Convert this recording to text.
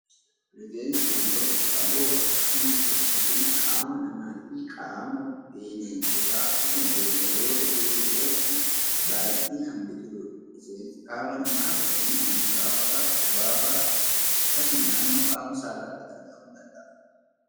Rifeensi wantoota qaqalloo akkasumas sissiphii qaama namaafi qaama bineensotaa akkasuma beelladoota biroo irratti baayyinaan biqiludha. Rifeensi qaama namaa fakkeenyaaf mataafaa, bobaafaa akkasuma naannoo qaama saalaatti argamuu danda'a.